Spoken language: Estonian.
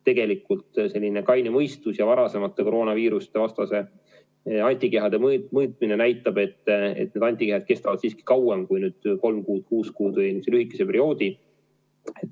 Tegelikult kaine mõistus ja varasem koroonaviirusevastaste antikehade mõõtmine näitab, et antikehad kestavad siiski kauem kui kolm kuud, kuus kuud või üldse lühikest aega.